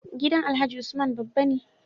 Gidan alhaji usman babba ne